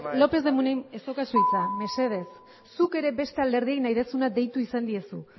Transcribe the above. lópez de munain ez daukazu hitza mesedez zuk beste alderdiei nahi duzuna deitu izan diezu